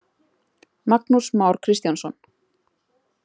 Magnús Már Kristjánsson.